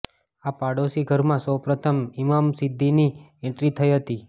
આ પાડોસી ઘરમાં સૌપ્રથમ ઇમામ સિદ્ધીની એન્ટ્રી થઈ હતી